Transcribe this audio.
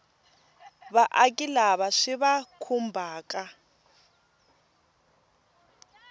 vaaki lava swi va khumbhaka